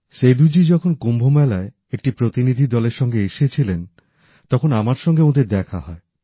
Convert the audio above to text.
সেদূ জি যখন কুম্ভ মেলায় একটি প্রতিনিধি দলের সঙ্গে এসেছিলেন তখন আমার সঙ্গে ওঁদের দেখা হয়